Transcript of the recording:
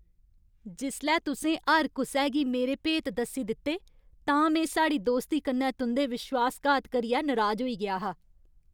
जिसलै तुसें हर कुसै गी मेरे भेत दस्सी दित्ते तां में साढ़ी दोस्ती कन्नै तुं'दे विश्वासघात करियै नराज होई गेआ हा।